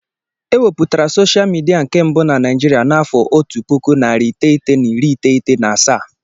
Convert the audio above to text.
E wepụtara soshal midia nke mbụ na Naijiria n'afọ otu puku, narị iteghete na iri iteghete na asaa.